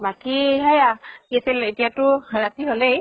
বাকী সেয়া কি আছিল এতিয়া টো ৰাতি হলেই